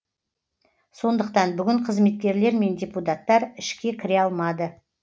сондықтан бүгін қызметкерлер мен депутаттар ішке кіре алмады